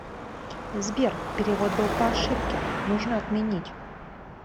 сбер перевод был по ошибке нужно отменить